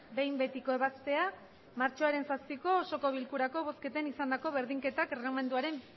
behin betiko ebaztea matxoaren zazpiko osoko bilkurako bozketan izandako berdinketak erregelamenduaren